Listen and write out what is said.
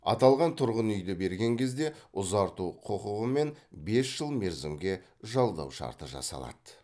аталған тұрғын үйді берген кезде ұзарту құқығымен бес жыл мерзімге жалдау шарты жасалады